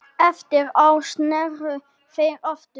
Eftir ár sneru þeir aftur.